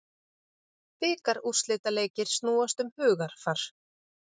Bikarúrslitaleikir snúast um hugarfar